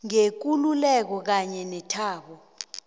ngekululeko kanye nethabo